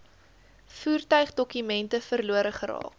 voertuigdokumente verlore geraak